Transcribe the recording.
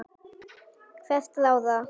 hverra ráða.